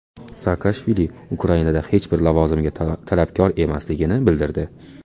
Saakashvili Ukrainada hech bir lavozimga talabgor emasligini bildirdi.